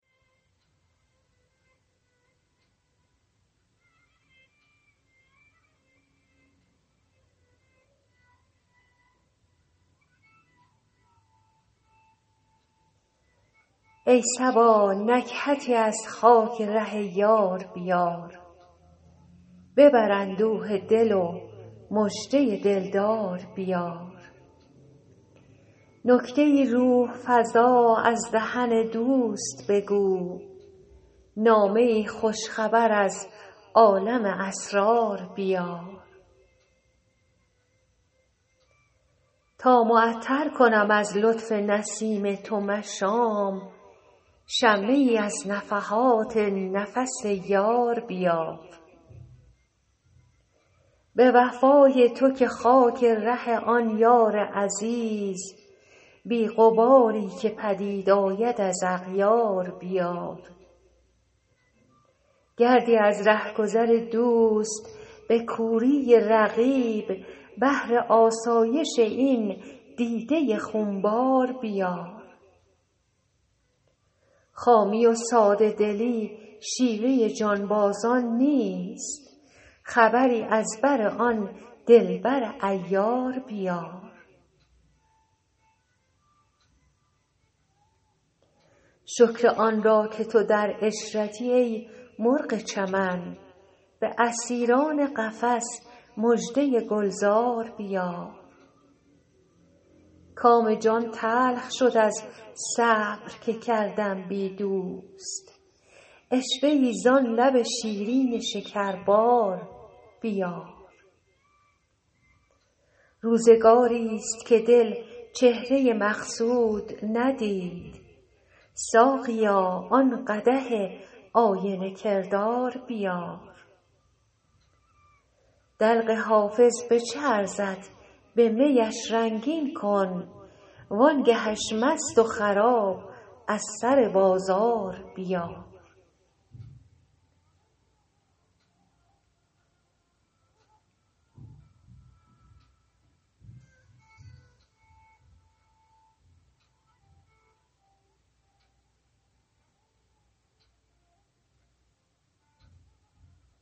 ای صبا نکهتی از خاک ره یار بیار ببر اندوه دل و مژده دل دار بیار نکته ای روح فزا از دهن دوست بگو نامه ای خوش خبر از عالم اسرار بیار تا معطر کنم از لطف نسیم تو مشام شمه ای از نفحات نفس یار بیار به وفای تو که خاک ره آن یار عزیز بی غباری که پدید آید از اغیار بیار گردی از ره گذر دوست به کوری رقیب بهر آسایش این دیده خون بار بیار خامی و ساده دلی شیوه جانبازان نیست خبری از بر آن دل بر عیار بیار شکر آن را که تو در عشرتی ای مرغ چمن به اسیران قفس مژده گل زار بیار کام جان تلخ شد از صبر که کردم بی دوست عشوه ای زان لب شیرین شکربار بیار روزگاریست که دل چهره مقصود ندید ساقیا آن قدح آینه کردار بیار دلق حافظ به چه ارزد به می اش رنگین کن وان گه اش مست و خراب از سر بازار بیار